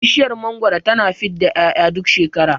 Bishiyar mangwaro tana fidda 'ya'ya duk shekara